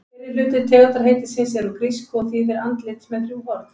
Fyrri hluti tegundarheitisins er úr grísku og þýðir andlit með þrjú horn.